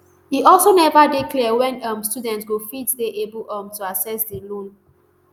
e also neva dey clear wen um student go fit dey able um to access di loan